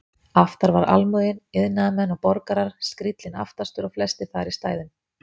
Aftar var almúginn, iðnaðarmenn og borgarar, skríllinn aftastur og flestir þar í stæðum.